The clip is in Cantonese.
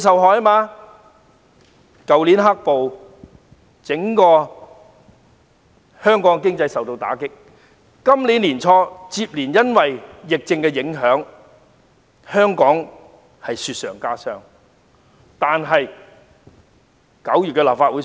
去年的"黑暴"打擊香港整體經濟，到今年年初受疫情影響，香港的情況更是雪上加霜。